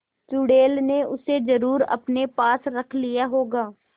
चुड़ैल ने उसे जरुर अपने पास रख लिया होगा